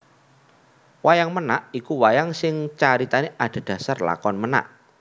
Wayang Ménak iku wayang sing caritané adhedhasar lakon ménak